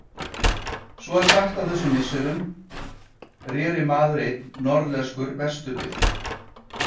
Svo er sagt að á þessum misserum reri maður einn norðlenskur vestur við